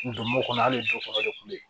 Ndomo kɔnɔ hali du kɔnɔ yen